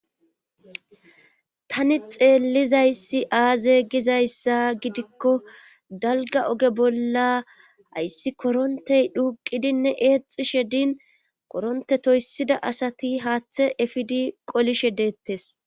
tani xeellizayssi aaze gizayssa gidikko dalga oge bolla ayssi korontey dhuuqidinne eexishe din koronte toyssida asati haaththe efidi qolishe deettes